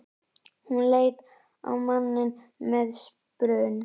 Hún leit á manninn með spurn.